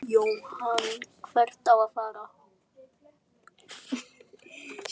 Jóhann: Hvert á að fara?